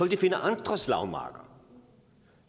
de finde andre slagmarker